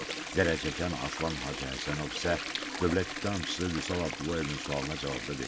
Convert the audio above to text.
Zərər çəkən Aslan Hacıhəsənov isə dövlət ittihamçısı Vüsal Abdullayevin sualına cavabda dedi ki,